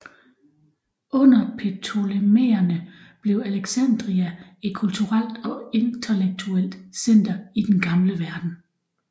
Under ptolemæerne blev Alexandria et kulturelt og intellektuelt center i den gamle verden